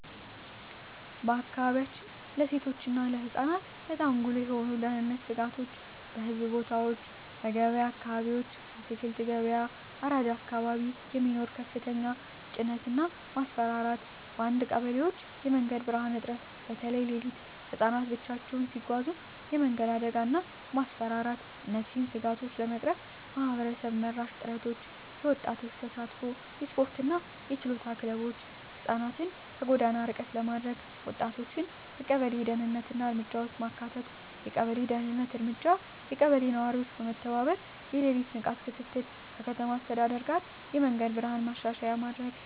በአካባቢያችን ለሴቶች እና ለህፃናት በጣም ጉልህ የሆኑ የደህንነት ስጋቶች :- በሕዝብ ቦታዎች *በገበያ አካባቢዎች (አትክልት ገበያ፣ አራዳ አካባቢ) የሚኖር ከፍተኛ ተጭነት እና ማስፈራራት *በአንዳንድ ቀበሌዎች የመንገድ ብርሃን እጥረት (በተለይ ሌሊት) *ህፃናት ብቻቸውን ሲጓዙ የመንገድ አደጋ እና ማስፈራራት እነዚህን ስጋቶች ለመቅረፍ ማህበረሰብ መራሽ ጥረቶች :- የወጣቶች ተሳትፎ *የስፖርትና የችሎታ ክለቦች (ህፃናትን ከጎዳና ርቀት ለማድረግ) *ወጣቶችን በቀበሌ የደህንነት እርምጃ ውስጥ ማካተት የቀበሌ ደህንነት እርምጃ *የቀበሌ ነዋሪዎች በመተባበር የሌሊት ንቃት ክትትል *ከከተማ አስተዳደር ጋር የመንገድ ብርሃን ማሻሻያ